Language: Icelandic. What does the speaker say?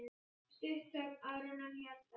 Stutt þögn, áður en hann hélt áfram.